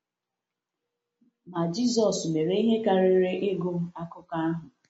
Ma Jisọs mere ihe karịrị ịgụ akụkọ ahụ.